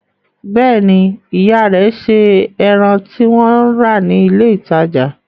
Bẹ́ẹ̀ ni, ìyá rẹ̀ se ẹran tí wọ́n rà ní ilé-ìtajà.